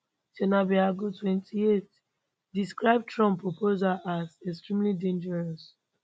sanabel alghoul 28 describe trump proposals as extremely dangerous